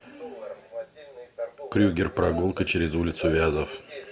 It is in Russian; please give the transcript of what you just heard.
крюгер прогулка через улицу вязов